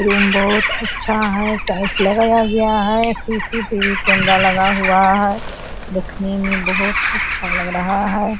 Room बहुत अच्छा है टाइल्स लगाया गया है सी.सी.टी.वी. कैमरा लगा हुआ है देखने में बहुत अच्छा लग रहा है।